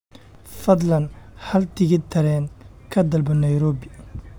fadlan hal tigidh tareen ka dalbo nairobi